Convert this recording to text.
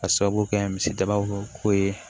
Ka sababu kɛ misi daba ko ye